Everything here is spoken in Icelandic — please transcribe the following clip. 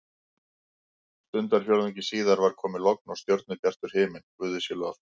Stundarfjórðungi síðar var komið logn og stjörnubjartur himinn, guði sé lof.